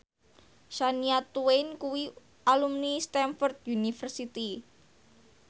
Shania Twain kuwi alumni Stamford University